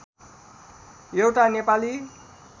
एउटा नेपाली